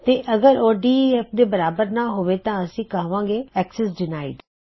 ਤੇ ਅਗਰ ਉਹ ਡੇਫ ਦੇ ਬਰਾਬਰ ਨਾ ਹੋਵੇ ਤਾਂ ਅਸੀ ਕਹਵਾਂਗੇ ਅਕਸੈਸ ਡਿਨਾਇਡ